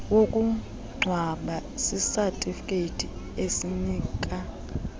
wokungcwaba sisatifiketi esinika